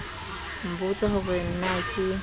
nbotsa ho re na ke